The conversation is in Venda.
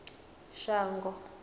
shango